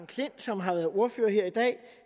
klint som har været ordfører her i dag